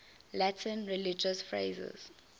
latin religious phrases